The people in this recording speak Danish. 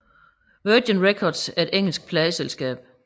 Virgin Records er et engelsk pladeselskab